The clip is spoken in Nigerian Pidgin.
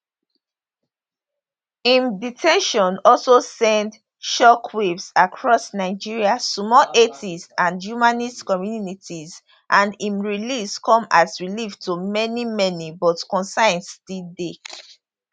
im de ten tion also send shockwaves across nigeria small atheist and humanist communities and im release come as relief to many many but concerns still dey